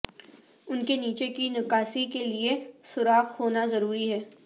ان کے نیچے کی نکاسی کے لئے سوراخ ہونا ضروری ہے